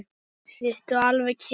Sittu alveg kyrr.